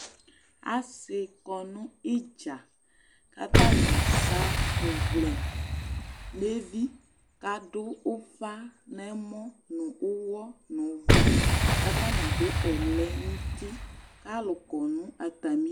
Asɩ kɔ nʊ ɩdza atanɩ akɔ ɔwlɛ nʊ ɩkponu kʊ adu ʊfa nʊ ɛmɔ nʊ ʊwɔ nʊ ʊvʊ kʊ atanɩ adʊ ɛlɛnʊtɩ kʊ alʊkɔ nʊ atamɩ ɩdʊ